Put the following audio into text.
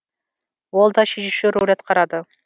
ол да шешуші рөл атқарады